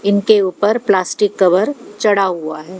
इनके ऊपर plastic cover चढ़ा हुआ है।